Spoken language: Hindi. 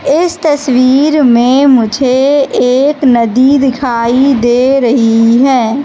इस तस्वीर में मुझे एक नदी दिखाई दे रही है।